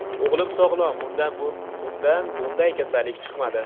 O‘g‘lim sog‘lom, undan bunday kasallik chiqmadi.